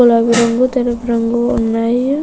గులాబీ రంగు తెలుపు రంగు ఉన్నాయి.